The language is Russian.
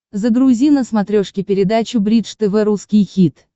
загрузи на смотрешке передачу бридж тв русский хит